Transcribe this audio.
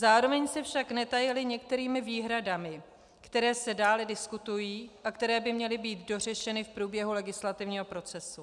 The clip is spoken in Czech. Zároveň se však netajili některými výhradami, které se dále diskutují a které by měly být dořešeny v průběhu legislativního procesu.